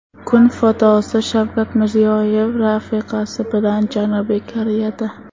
Kun fotosi: Shavkat Mirziyoyev rafiqasi bilan Janubiy Koreyada.